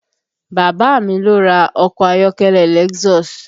Bàbá a mi ló ra ọkọ̀ ayọ́kẹ́lẹ́ Lexus